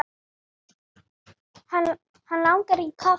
Hann langar í kaffi.